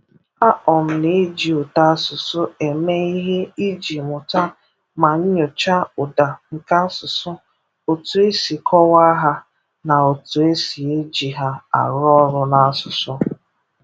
A um na-eji ụtọ asụsụ eme ihe iji mụta ma nyochaa ụda nke asụsụ, otu e si kọwaa ha, na otu e si eji ha arụ ọrụ n’asụsụ.